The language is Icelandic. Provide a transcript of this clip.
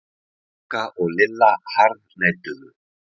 Magga og Lilla harðneituðu.